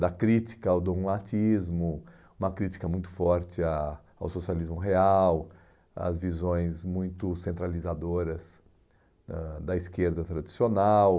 da crítica ao dogmatismo, uma crítica muito forte a ao socialismo real, às visões muito centralizadoras da da esquerda tradicional.